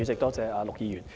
多謝陸議員。